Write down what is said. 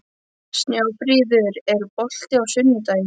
Snjáfríður, er bolti á sunnudaginn?